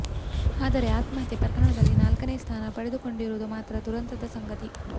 ಆದರೆ ಆತ್ಮಹತ್ಯೆ ಪ್ರಕರಣದಲ್ಲಿ ನಾಲ್ಕನೇ ಸ್ಥಾನ ಪಡೆದುಕೊಂಡಿರುವುದು ಮಾತ್ರ ದುರಂತದ ಸಂಗತಿ